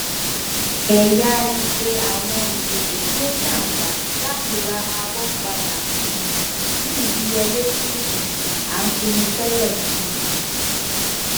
ẹyà ìpè àwọn ìpèsè tí ó ní àǹfààní láti ra àábò padà um ní ìdíyelé tí um a pinnu tẹlẹ um